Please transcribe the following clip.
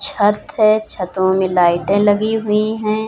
छत है छतों में लाइटे लगीं हुईं है।